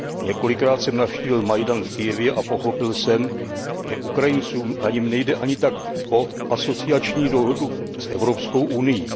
Několikrát jsem navštívil Majdan v Kyjevě a pochopil jsem, že Ukrajincům na něm nejde ani tak o asociační dohodu s Evropskou unií.